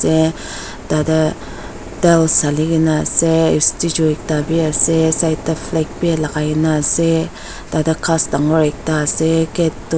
tatae tiles halikae na ase statue ekta bi ase side tae fla bi lakai kaena ase tatae ghas dangor ekta ase gate toh.